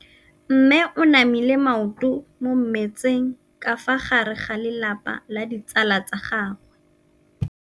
Mme o namile maoto mo mmetseng ka fa gare ga lelapa le ditsala tsa gagwe.